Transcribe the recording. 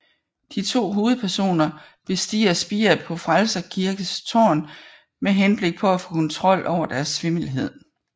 De to hovedpersoner bestiger spiret på Frelsers Kirkes tårn med henblik på at få kontrol over deres svimmelhed